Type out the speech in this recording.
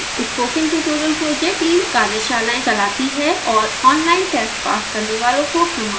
spoken tutorial project team कार्यशालाएं चलाती है और online test pass करने वालों को प्रमाणपत्र देती है